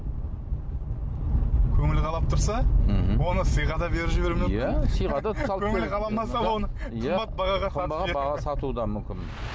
көңілі қалап тұрса мхм оны сыйға да беріп жіберуі мүмкін көңілі қаламаса қымбат бағаға сатуы да мүмкін